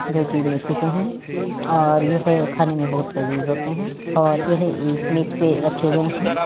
जो कि मेथी के हैं और यह खाने में बोहोत लजीज होते हैं और यह एक मेज पर रखे गए हैं।